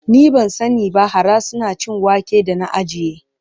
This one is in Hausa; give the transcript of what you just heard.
Ni ban sani ba, hara suna cin wake da na ajiye.